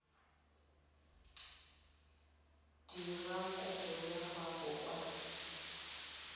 dira kopo ya gago kwa